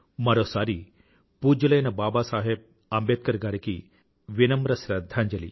మరోసారి పూజ్యులైన బాబాసాహెబ్ అంబేద్కర్ గారికి వినమ్ర శ్రధ్ధాంజలి